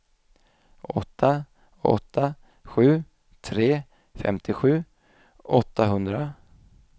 åtta åtta sju tre femtiosju åttahundra